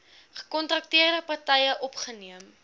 gekontrakteerde partye opgeneem